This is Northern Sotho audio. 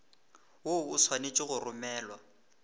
woo o swanetše go romelwa